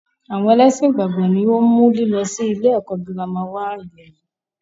Àwọn ẹlẹ́ṣin ìgbàgbọ́ ni wọn mú lílọ sì ilé ẹ̀kọ́ girama wá ilẹ̀ yìí.